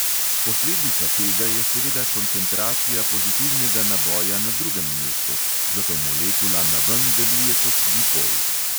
Posledica tega je seveda koncentracija pozitivnega naboja na drugem mestu, zato molekula naven deluje kot dipol.